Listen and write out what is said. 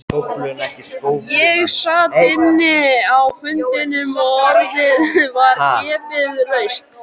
Ég sat inni á fundinum og orðið var gefið laust.